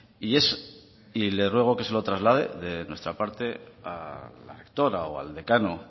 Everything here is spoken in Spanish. le ruego que se lo traslade de nuestra parte a la rectora o al decano